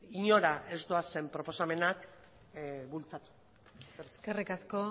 inora ez doazen proposamenak bultzatu eskerrik asko